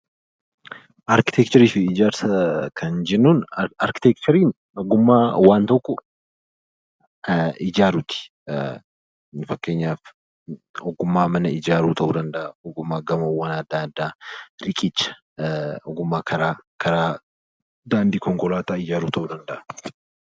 Arkiteekcharii fi ijaarsa kan jennuun, arkiteekchariin ogummaa waan tokko ijaaruuti. Fakkeenyaaf ogummaa mana ijaaruu ta'uu danda'a, ogummaa gamoowwan addaa addaa, riqicha, karaa, daandii ta'uu danda'a.